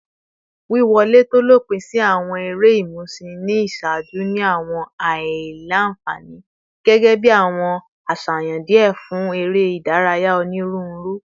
Wiwọle to lopin si awọn ere imusin ni iṣaaju ni awọn aila-nfani, gẹgẹbi awọn aṣayan diẹ fun ere idaraya oniruuru